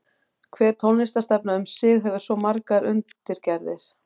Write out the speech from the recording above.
Hver tónlistarstefna um sig hefur svo margar undirgerðir.